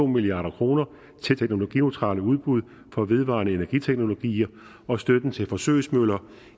milliard kroner til teknologineutrale udbud for vedvarende energi teknologier og støtten til forsøgsmøller